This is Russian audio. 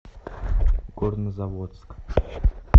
горнозаводск